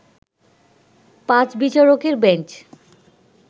পাঁচ বিচারকের বেঞ্চ